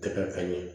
Tɛ kɛ ka ɲɛ